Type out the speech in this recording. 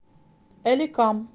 элекам